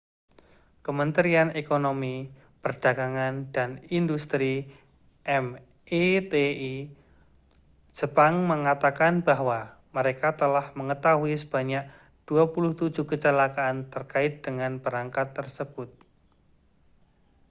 kementerian ekonomi perdagangan dan industri meti jepang mengatakan bahwa mereka telah mengetahui sebanyak 27 kecelakaan terkait dengan perangkat tersebut